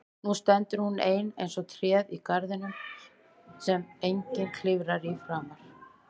Nú stendur hún ein eins og tréð í garðinum sem enginn klifrar í framar.